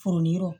Furu yɔrɔ